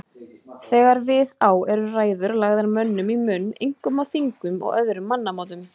Þegar við á eru ræður lagðar mönnum í munn, einkum á þingum og öðrum mannamótum.